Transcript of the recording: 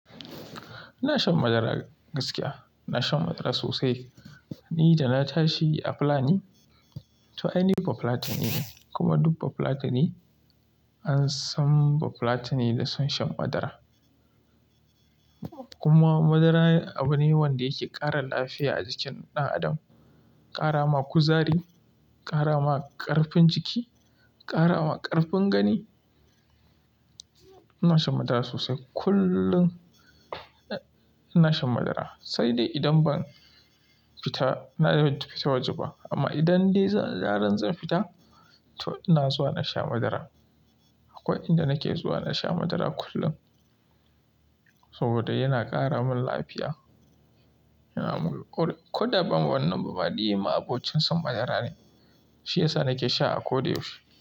Ina shan madara gaskiya, ina shan madara sosai. Ni da na tashi a Fulani, to aini ba Fulatanine kuma duk ba Fulatani an san ba Fulatani da son shan madara. Kuma madara abu ne wanda yake ƙara lafiya a jikin ɗan adam, ƙara ma kuzari, ƙara ma ƙarfin jiki, ƙara ma ƙarfin gani. Ina shan madara sosai kullum, ina shan madara sai dai idan ban fita, na fita waje ba amma idan dai da zarar zan fita to ina zuwa na sha madara. Akwai inda nake zuwa na sha madara kullum saboda yana ƙara min lafiya. Yana min kul, ko da ba wannan bama ni ma abocin son madara ne, shi yasa nake sha a ko da yaushe.